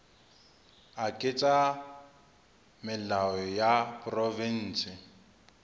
a ketsa melao a diprovense